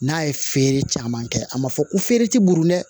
N'a ye feere caman kɛ a ma fɔ ko feere ti bolo dɛ